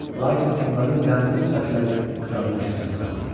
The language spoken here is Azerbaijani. Lakin onların qəmli sifətləri kralı təşvişə saldı.